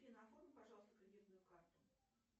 пожалуйста крединую карту